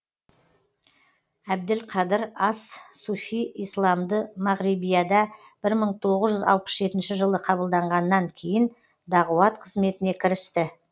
әбділқадыр ас суфи исламды мағрибияда бір мың тоғыз жүз алпыс жетінші жылы қабылданғаннан кейін дағуат қызметіне кірісті